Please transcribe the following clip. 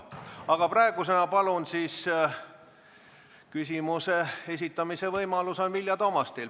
Aga praegu, palun, küsimuse esitamise võimalus on Vilja Toomastil.